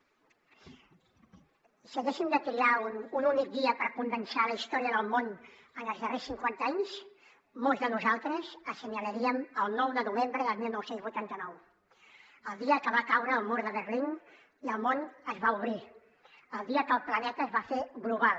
si haguéssim de triar un únic dia per condensar la història del món en els darrers cinquanta anys molts de nosaltres assenyalaríem el nou de novembre del dinou vuitanta nou el dia que va caure el mur de berlín i el món es va obrir el dia que el planeta es va fer global